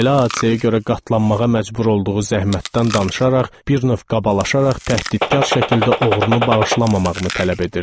Belə hadisəyə görə qatlanmağa məcbur olduğu zəhmətdən danışaraq bir növ qabalaşaraq təhdidkar şəkildə oğrunu bağışlamamağımı tələb edirdi.